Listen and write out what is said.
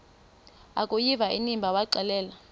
akuyiva inimba waxelela